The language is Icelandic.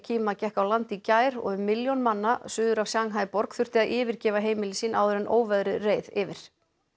lekima gekk á land í gær og um milljón manna suður af Shanghai borg þurfti að yfirgefa heimili sín áður en óveðrið reið yfir